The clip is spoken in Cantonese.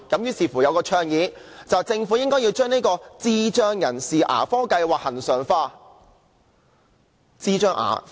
於是有人倡議，政府應把智障人士的牙科計劃恆常化。